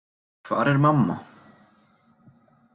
Hvar er mamma?